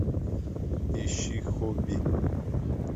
ищи хобби